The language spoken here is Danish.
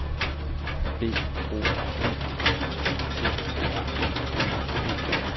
B O U T R U P